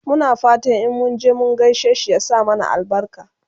Muna fatan in munje mun gaishe shi ya sa mana albarka